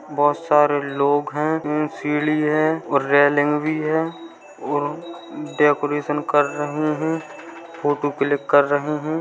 बहुत सारे लोग है। सीढ़ी है और रेलिंग भी है और डेकोरेशन कर रहे है फोटो क्लिक कर रहे है।